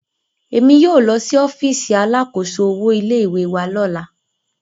Emi yóò lọ si ọfiisi alákòóso owo ilé ìwé wa lọla